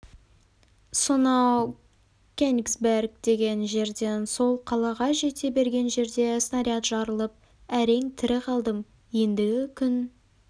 сонау кенигсберг деген жерден сол қалаға жете берген жерде снаряд жарылып әрең тірі қалдым ендігі күн